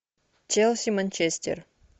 челси манчестер